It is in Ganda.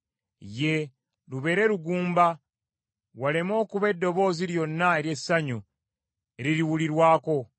Yee, lubeere lugumba, waleme okuba eddoboozi lyonna ery’essanyu eririwulirwako.